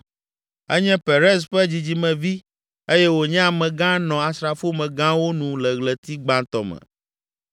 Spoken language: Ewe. Enye Perez ƒe dzidzimevi eye wònye amegã nɔ asrafomegãwo nu le ɣleti gbãtɔ me.